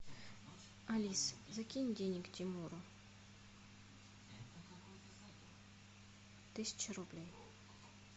алис закинь денег тимуру тысячу рублей